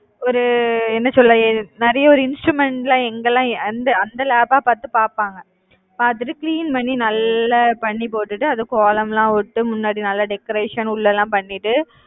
ஒரு என்ன சொல்ல? நிறைய ஒரு instrument லாம் எங்கெல்லாம் அந்த அந்த lab ஆ பார்த்து பார்ப்பாங்க. பார்த்துட்டு clean பண்ணி நல்லா போட்டுட்டு அதுவும் கோலமெல்லாம் விட்டு முன்னாடி நல்லா decoration உள்ள எல்லாம் பண்ணிட்டு